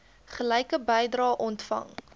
gelyke bedrae ontvang